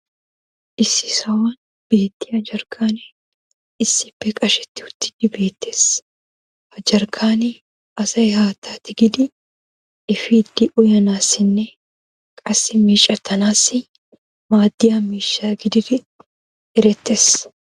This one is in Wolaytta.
issi sohuwan beettiya jarkkaanee issippe qashetti uttidi beetees. ha jarkkaanne asay haattaa tikkidi efiidi uyanaassinne qassi meecettanaassi maaddiya miishsha gididdi erettees.